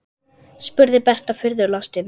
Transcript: spurði Berta furðu lostin.